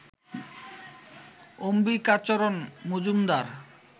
Ambikacharan Majumdar